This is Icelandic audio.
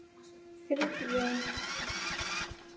Friðjón